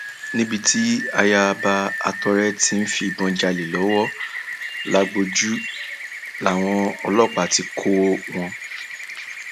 akẹkọọ fásitì alhikh lẹdí àpò pọ pẹlú agùnbàníró láti ja iléèwé náà lólé mílíọnù mẹsàn